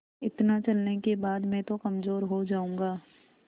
इतना चलने के बाद मैं तो कमज़ोर हो जाऊँगा